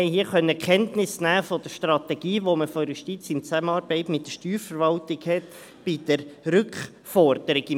Wir konnten Kenntnis nehmen von der Strategie der Justiz in Zusammenarbeit mit der Steuerverwaltung betreffend diese Rückforderungen.